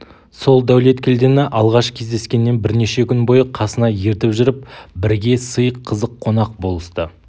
сол дәулеткелдіні алғаш кездескеннен бірнеше күн бойы қасына ертіп жүріп бірге сый қызық қонақ болысты